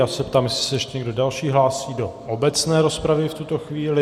Já se ptám, jestli se ještě někdo další hlásí do obecné rozpravy v tuto chvíli.